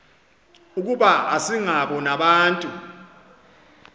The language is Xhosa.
ukuba asingabo nabantu